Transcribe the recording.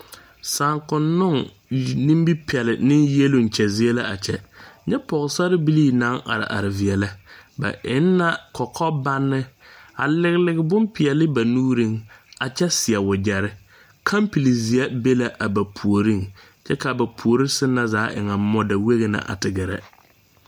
Saakonnoo nimipɛle ne yɛloŋ kyɛ zie la a kyɛ nyɛ pɔgesarbilii naŋ are are feɛlɛ ba eŋ la kɔkɔbanne a lige lige bompeɛle ba nuureŋ a kyɛ seɛ wagyere kampilizeɛ be la a ba puoriŋ kyɛ ka ba puori na zaa eŋa mɔdawegea the gerɛ